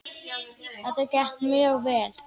Þetta gekk mjög vel.